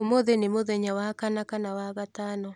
Ũmũthĩ nĩ mũthenya wa kana kana wa gatano.